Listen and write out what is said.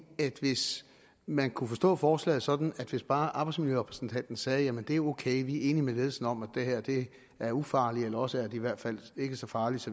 at hvis man kunne forstå forslaget sådan at hvis bare arbejdsmiljørepræsentanten sagde jamen det er ok vi er enige med ledelsen om at det her er ufarligt eller også er i hvert fald ikke så farligt